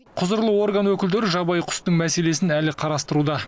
құзырлы орган өкілдері жабайы құстың мәселесін әлі қарастыруда